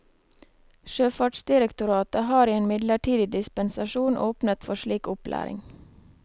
Sjøfartsdirektoratet har i en midlertidig dispensasjon åpnet for slik opplæring.